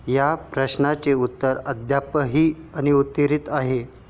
या प्रश्नाचे उत्तर अद्यापही अनुत्तरीत आहे.